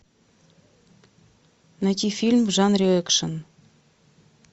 найти фильм в жанре экшн